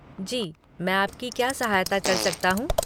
जी, मैं आपकी क्या सहायता कर सकता हूँ?